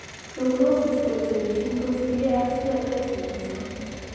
Prognosis koterchin kotiengei ak COX nemiten